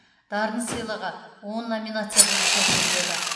дарын сыйлығы он номинация бойынша беріледі